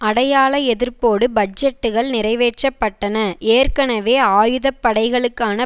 அடையாள எதிர்ப்போடு பட்ஜெட்டுகள் நிறைவேற்றப்பட்டன ஏற்கனவே ஆயுத படைகளுக்கான